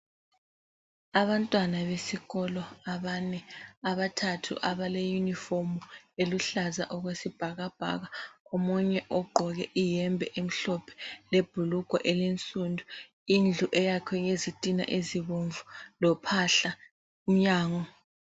Abantwana besikolo abane abathathu abale yunifomu eluhlaza okwesibhakabhaka omunye ogqoke iyembe emhlophe lebhulugwe elinsundu indlu eyakhwe ngezitina ezibomvu lophahla mnyango.